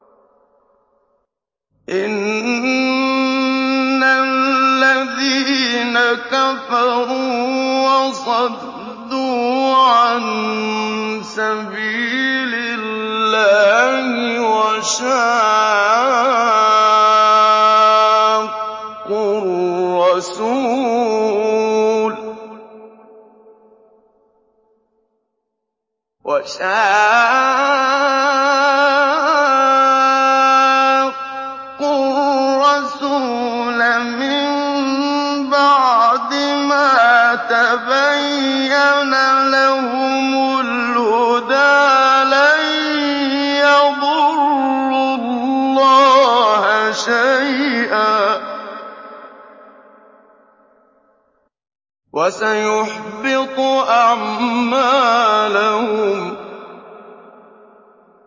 إِنَّ الَّذِينَ كَفَرُوا وَصَدُّوا عَن سَبِيلِ اللَّهِ وَشَاقُّوا الرَّسُولَ مِن بَعْدِ مَا تَبَيَّنَ لَهُمُ الْهُدَىٰ لَن يَضُرُّوا اللَّهَ شَيْئًا وَسَيُحْبِطُ أَعْمَالَهُمْ